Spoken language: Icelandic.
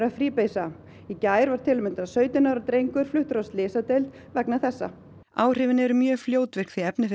að fríbeisa í gær var til að mynda sautján ára drengur fluttur á slysadeild vegna þessa áhrifin eru mjög fljótvirk því efnið